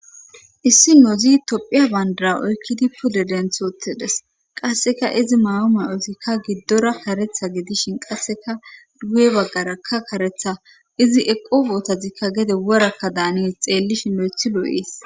Issi nozi tophiya bandara oykkidi pule denthotedes qasseka izi ma'u may ozikka giddora karetha gidishin qasseka guye baggarakka karetha izi eqo bootazikka gede worakka daanees xeellishin lo'ethi loo'ees.